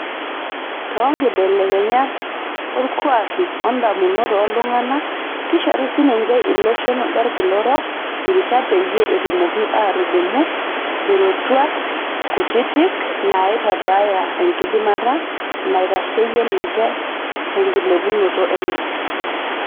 too ngibelekenyat oolkuuaki o daamunot ooltunganak, kishori sininje iloshon lorkila orok irishat peyie etumoki aatudumu irootuat kutiti naaitabaya enkidimata naitasheyie ninje te enkilepunoto enye.